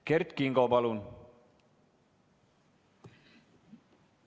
Kert Kingo, palun!